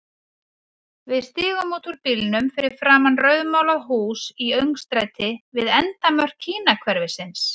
Við stigum út úr bílnum fyrir framan rauðmálað hús í öngstræti við endamörk Kínahverfisins.